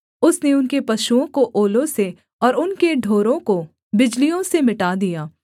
उसने उनके पशुओं को ओलों से और उनके ढोरों को बिजलियों से मिटा दिया